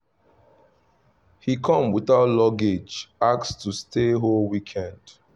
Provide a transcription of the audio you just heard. he come without luggage ask to stay whole weekend